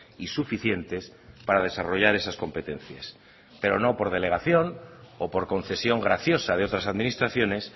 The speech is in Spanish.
y suficientes para desarrollar esas competencias pero no por delegación o por concesión graciosa de otras administraciones